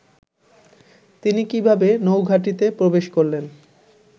তিনি কিভাবে নৌঘাঁটিতে প্রবেশ করলেন